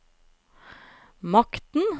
makten